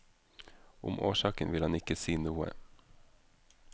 Om årsaken vil han ikke si noe.